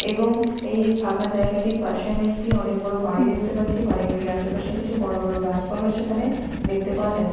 এবং এই ফাঁকা জায়গাটির পাশে আমি একটি অনেক বড় বাড়ি দেখতে পাচ্ছি বাড়িগুলির আশেপাশে কিছু বড় বড় গাছপালাও সেখানে দেখতে পাওয়া যাচ্ছে।